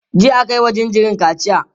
jiya akayi wa jinjirin kaciya